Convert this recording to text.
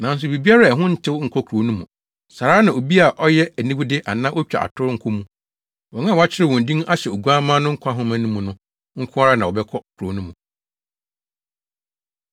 Nanso biribiara a ɛho ntew nkɔ kurow no mu. Saa ara na obi a ɔyɛ aniwude anaa otwa atoro nkɔ mu. Wɔn a wɔakyerɛw wɔn din ahyɛ Oguamma no nkwa nhoma no mu no nko ara na wɔbɛkɔ kurow no mu.